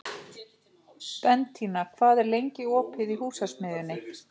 Bentína, hvað er lengi opið í Húsasmiðjunni?